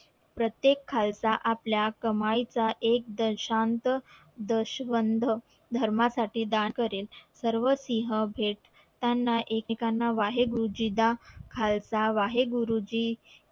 प्रत्येक खालसा आपल्या कमाई चा एक दशांक दशवन्ध धर्मा साठी दान करेल सर्व सिहं भेद त्याना एक एकेकाला वाहे गुरुजी दा खालसा वाहे गुरुजी